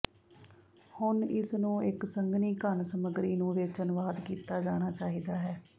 ਹੁਣ ਇਸ ਨੂੰ ਇੱਕ ਸੰਘਣੀ ਘਣ ਸਮੱਗਰੀ ਨੂੰ ਵਿੱਚ ਅਨੁਵਾਦ ਕੀਤਾ ਜਾਣਾ ਚਾਹੀਦਾ ਹੈ